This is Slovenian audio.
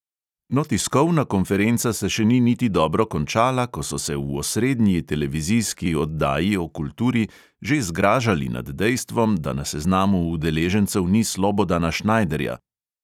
No, tiskovna konferenca se še ni niti dobro končala, ko so se v osrednji televizijski oddaji o kulturi že zgražali nad dejstvom, da na seznamu udeležencev ni slobodana šnajderja.